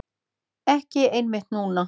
Ekki einmitt núna.